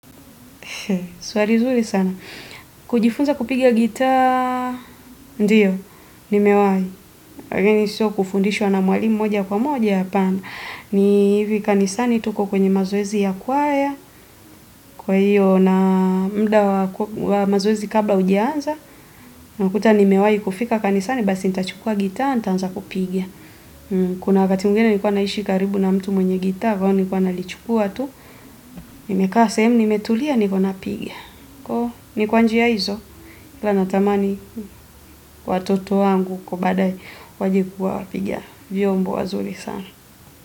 Swali zuri sana. Kujifunza kupigia gitaa. Ndiyo, nimewahi, lakini sio kufundishwa na mwalimu moja kwa moja hapana. Ni hivi, kanisani tu huko kwenye mazoezi ya kwaya. Kwa hivyo na muda wa mazoezi kabla hujaanza. Nakuta nimewahi kufika kanisani basi nitachukua gitaa nitaanza kupiga. Kuna wakati mwingine nilikuwa naishi karibu na mtu mwenye gitaa kwao nilikuwa nalichukua tu. Nimekaa sehemu nimetulia niko napiga. Ni kwa njia hizo ila natamani watoto wangu kwa baadae waje kuwa wapiga vyombo wazuri sana.